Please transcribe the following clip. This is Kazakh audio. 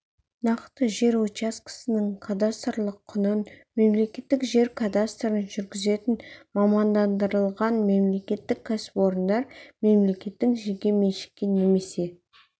нақты жер учаскесінің кадастрлық құнын мемлекеттік жер кадастрын жүргізетін мамандандырылған мемлекеттік кәсіпорындар мемлекеттің жеке меншікке немесе